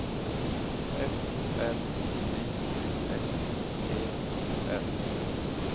F R Y S E R